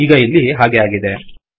ಈಗ ಇಲ್ಲಿ ಹಾಗೆ ಆಗಿದೆ